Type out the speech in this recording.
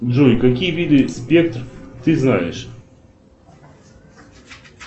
джой какие виды спектр ты знаешь